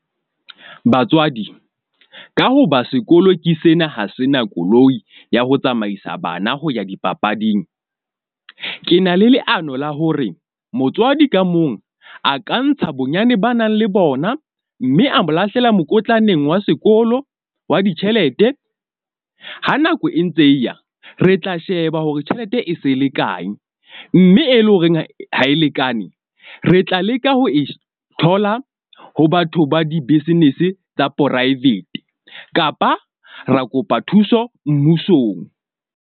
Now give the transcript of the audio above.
Batswadi ka hoba sekolo ke sena, ha se na koloi ya ho tsamaisa bana ho ya dipapading. Ke na le leano la hore motswadi ka mong a ka ntsha bonyane ba nang le bona. Mme a mo lahlela mokotlaneng wa sekolo wa ditjhelete. Ha nako e ntse e ya, re tla sheba hore tjhelete e se le kae, mme e leng horeng ha e lekane, re tla leka ho e thola ho batho ba di-business-e tsa private kapa ra kopa thuso mmusong.